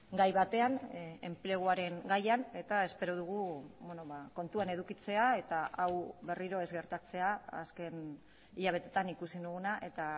gai batean enpleguaren gaian eta espero dugu kontuan edukitzea eta hau berriro ez gertatzea azken hilabeteetan ikusi duguna eta